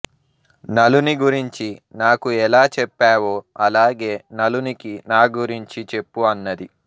నలుని గురించి నాకు ఎలా చెప్పావో అలాగే నలునికి నా గురించి చెప్పు అన్నది